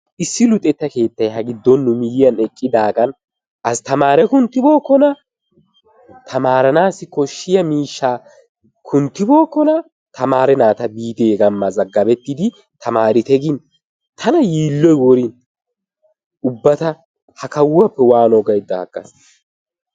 Issi luxxetta keettay ha giddon nu miyyiyaan eqqidaagan astamaare kunttibookona. tamaraanassi kooshiyaa miishshaa kunttibookona. tamare naata biite biidi hegaan mazagabettite taamarite gin tana yiilloy worin ubba ta ha kawuwaappe waano gaydda aggaas.